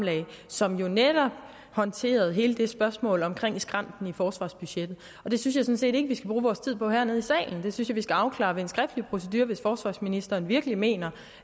som jo netop håndterede hele det spørgsmål omkring skrænten i forsvarsbudgettet det synes jeg sådan set ikke vi skal bruge vores tid på hernede i salen det synes jeg vi skal afklare ved en skriftlig procedure hvis forsvarsministeren virkelig mener